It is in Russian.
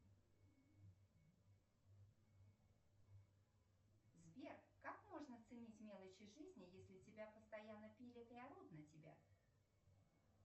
сбер как можно ценить мелочи жизни если тебя постоянно пилят и орут на тебя